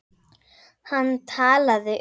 Hann talaði um